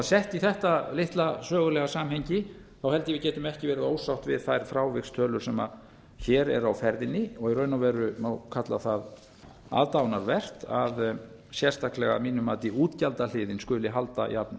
sett í þetta litla sögulega samhengi held ég að við getum ekki verið ósátt við þær frávikstölur sem hér eru á ferðinni og í raun og veru má kalla það aðdáunarvert að sérstaklega að mínu mati útgjaldahliðin skuli halda